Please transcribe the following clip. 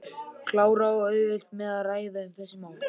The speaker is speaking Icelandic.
Klara á auðvelt með að ræða um þessi mál.